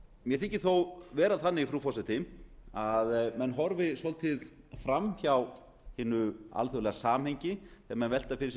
mér þykir þó vera þannig frú forseti að menn horfi svolítið fram hjá hinu alþjóðlega samhengi þegar menn velta fyrir sér bankakreppunni